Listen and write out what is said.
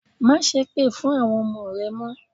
Másépè fún àwọn ọmọ rẹ mọ́.